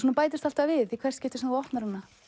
bætist alltaf við í hvert skipti sem þú opnar hana